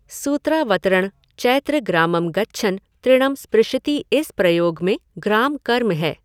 सूत्रावतरण चैत्र ग्रामं गच्छन् तृणं स्पृशति इस प्रयोग में ग्राम कर्म है।